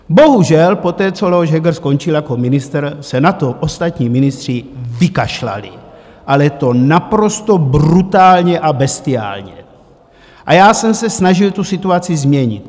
Bohužel poté, co Leoš Heger skončil jako ministr, se na to ostatní ministři vykašlali, ale to naprosto brutálně a bestiálně, a já jsem se snažil tu situaci změnit.